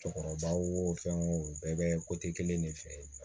Cɛkɔrɔba wo fɛn wo bɛɛ bɛ kelen de fɛ